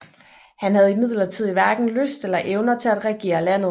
Han havde imidlertid hverken lyst eller evner til at regere landet